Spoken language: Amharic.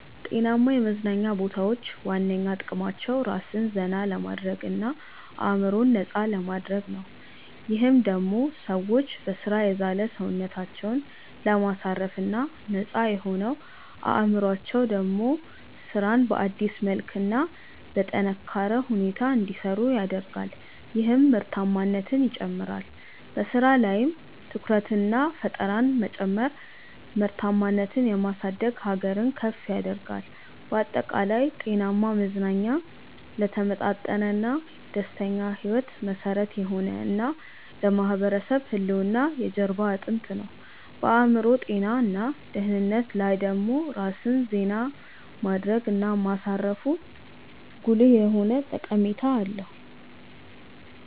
ጤናማ የመዝናኛ ቦታዎች ዋነኛ ጥቅማቸው ራስን ዘና ለማድረግ እና አዕምሮን ነፃ ለማድረግ ነው። ይህም ደሞ ሰዎች በሥራ የዛለ ሰውነታቸውን ለማሳረፍ እና ነፃ የሆነው አዕምሮአቸው ደሞ ስራን በአዲስ መልክ እና በጠነካረ ሁኔታ እንዲሰሩ ያደርጋል ይህም ምርታማነትን ይጨምራል። በሥራ ላይም ትኩረትንና ፈጠራን መጨመር ምርታማነትን የማሳደግ ሀገርን ከፍ ያደርጋል። ባጠቃላይ፣ ጤናማ መዝናኛ ለተመጣጠነና ደስተኛ ሕይወት መሠረት የሆነ እና ለማህበረሰብ ህልውና የጀርባ አጥንት ነው። በአዕምሮ ጤና እና ደህንነት ላይ ደሞ ራስን ዜና ማድረግ እና ማሳረፉ ጉልህ የሆነ ጠቀሜታ አለው።